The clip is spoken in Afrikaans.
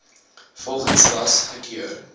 volgens ras gekeur